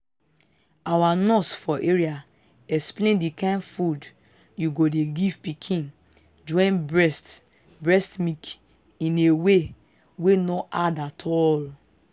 our nurse for area explain the kind food u go dey give pikin join breast breast milk in a way wey no hard at all.